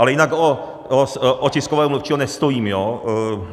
Ale jinak o tiskového mluvčího nestojím, jo?